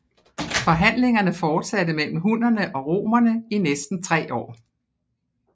Forhandlingerne fortsatte mellem hunnerne og romerne i næsten tre år